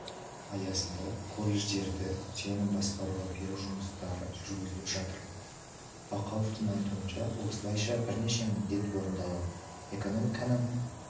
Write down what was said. аясында колледждерді сенімді басқаруға беру жұмыстары жүргізіліп жатыр бақауовтың айтуынша осылайша бірнеше міндет орындалады экономиканың